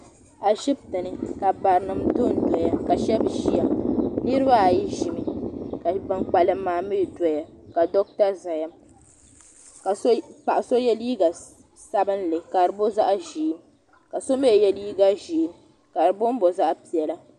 A shitini ka barinim dondoya ka shɛbi niriba ayi zimi ka bankpalim doya ka dota zaya ka paɣi so yɛ liiga sabinli ka di booi zaɣi ʒee ka so mi yɛ liiga zee ka bomi bomi zaɣ' piɛlla